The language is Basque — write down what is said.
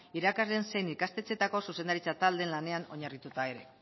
irakasle zein ikastetxeetako zuzendaritza taldeen lanean oinarrituta ere